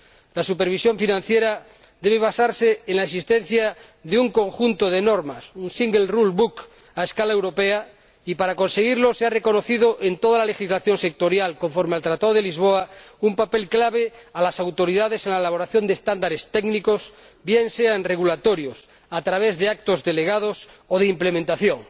La supervisión financiera debe basarse en la existencia de un conjunto de normas, un single rule book a escala europea, y para conseguirlo se ha reconocido en toda la legislación sectorial, conforme al Tratado de Lisboa, un papel clave a las autoridades en la elaboración de normas técnicas, bien sea en regulatorios, a través de actos delegados o de ejecución.